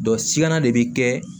sigana de bi kɛ